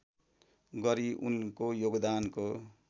गरी उनको योगदानको